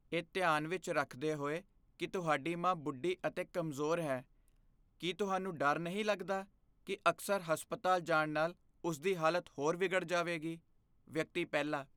ਇਹ ਧਿਆਨ ਵਿੱਚ ਰੱਖਦੇ ਹੋਏ ਕੀ ਤੁਹਾਡੀ ਮਾਂ ਬੁੱਢੀ ਅਤੇ ਕਮਜ਼ੋਰ ਹੈ, ਕੀ ਤੁਹਾਨੂੰ ਡਰ ਨਹੀਂ ਲੱਗਦਾ ਕੀ ਅਕਸਰ ਹਸਪਤਾਲ ਜਾਣ ਨਾਲ ਉਸ ਦੀ ਹਾਲਤ ਹੋਰ ਵਿਗੜ ਜਾਵੇਗੀ? ਵਿਅਕਤੀ ਪਹਿਲਾ